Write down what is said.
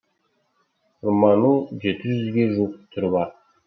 құрманың жеті жүзге жуық түрі бар